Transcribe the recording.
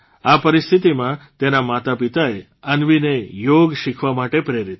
આ પરિસ્થિતિમાં તેના માતાપિતાએ અન્વીને યોગ શીખવા માટે પ્રેરિત કરી